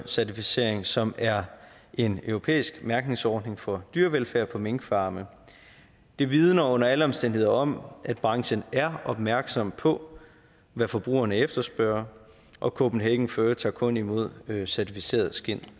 certificering som er en europæisk mærkningsordning for dyrevelfærd på minkfarme det vidner under alle omstændigheder om at branchen er opmærksom på hvad forbrugerne efterspørger og copenhagen fur tager kun imod certificerede skind